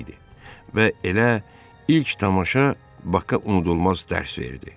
Və elə ilk tamaşa Baka unudulmaz dərs verdi.